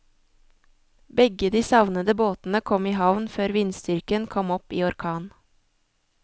Begge de savnede båtene kom i havn før vindstyrken kom opp i orkan.